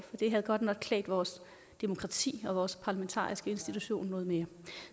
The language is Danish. det havde godt nok klædt vores demokrati og vores parlamentariske institution noget mere